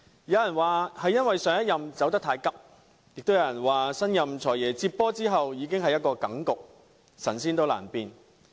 有人說，上一任財政司司長離職太急，也有人說，新任"財爺"接手時一切已成定局，神仙難變。